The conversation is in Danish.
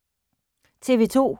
TV 2